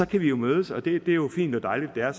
kan vi jo mødes og det er jo fint og dejligt at det er